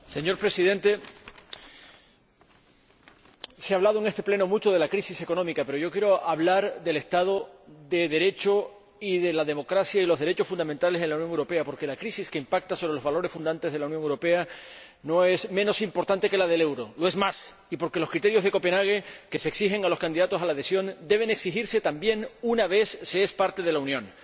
Señor Presidente, se ha hablado en este Pleno mucho de la crisis económica, pero yo quiero hablar del Estado de Derecho y de la democracia y los derechos fundamentales en la Unión Europea, porque la crisis que impacta sobre los valores fundacionales de la Unión Europea no es menos importante que la del euro —lo es más— y porque los criterios de Copenhague que se exigen a los candidatos a la adhesión deben exigirse también una vez que se es parte de la Unión.